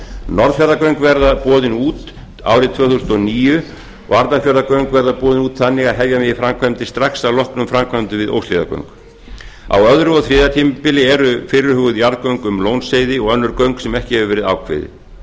norðfjarðargöng verða boðin út árið tvö þúsund og níu og arnarfjarðargöng verða boðin út þannig að hefja megi framkvæmdir strax að lokum framkvæmdum við óshlíðargöng á öðrum og þriðja tímabili eru fyrirhuguð jarðgöng um lónsheiði og önnur göng sem ekki hafa verið ákveðin